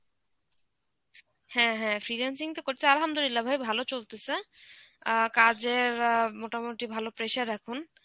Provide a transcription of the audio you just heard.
হ্যাঁ হ্যাঁ freelancing তো করছি Arbi ভাই ভালো চলতেছে. অ্যাঁ কাজের অ্যাঁ মোটামুটি ভালো pressure এখন.